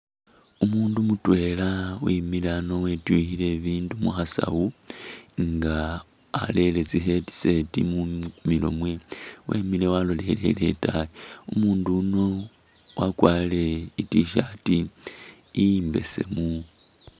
Umundu mutwela emile ano wetwikhile ebindu mukhasawo nga arele tsi headset mumilo mwe , imile aloleleye itayi ,umundu iyu akwarile i’t-shirt embesemu